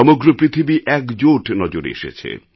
সমগ্র পৃথিবী একজোট নজরে এসেছে